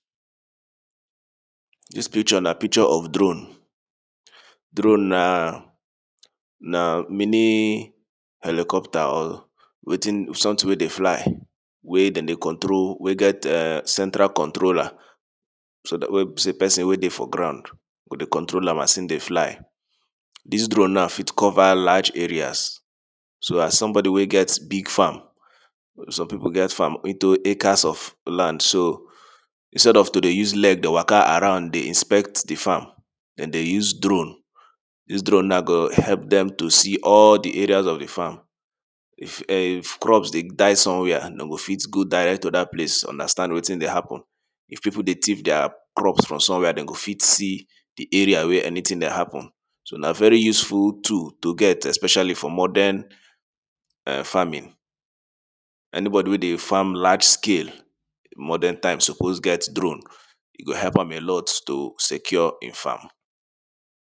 Dis picture na picture of drone, drone na, na minim helicopter or wetin sometin wey dey fly wey dem dey control wey get [urn] center controller, so dat wey be pesin wey dey for ground go dey control am as im dey fly. Dis drone now fit cover large areas so as somebody wey get big farm, some pipu get farm into acres of land so instead of to dey use leg around dey inspect di farm dem dey use drone, dis drone now go help dem to see all di areas of di farm if [urn] if crop dey die somewhere dey go fit go direct to dat place understand wetin dey happen, if pipu dey thief dia crops somewhere dem go fit see di area where any tin dey happen, so na very useful tool to get expecially for modern [urn] farming. Any body wey dey farm large scale modern type suppose get drone, e go help am alot to secure im farm.